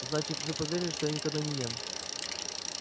значит вы поверили что я никогда не ем